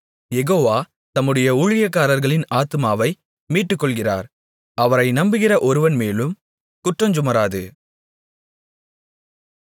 யெகோவா தம்முடைய ஊழியக்காரர்களின் ஆத்துமாவை மீட்டுக்கொள்ளுகிறார் அவரை நம்புகிற ஒருவன்மேலும் குற்றஞ்சுமராது